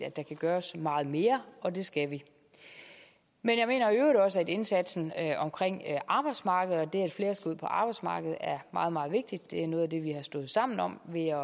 der kan gøres meget mere og det skal vi men jeg mener i øvrigt også at indsatsen omkring arbejdsmarkedet og det at flere skal ud på arbejdsmarkedet er meget meget vigtig det er noget af det vi har stået sammen om ved